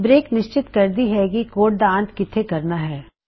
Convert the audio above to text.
break ਨਿਸ਼ਚਤ ਕਰਦੀ ਹੈ ਕੀ ਕੇਸ ਦਾ ਅੰਤ ਕਿਥੇ ਹੋਣਾ ਹੈ